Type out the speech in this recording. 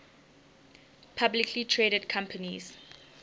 publicly traded companies